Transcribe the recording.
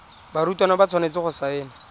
barutwana ba tshwanetse go saena